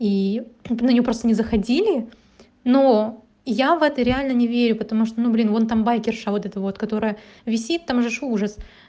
и на неё просто не заходили но я в это реально не верю потому что ну блин вон там байкерша вот это вот которая висит там же ж ужас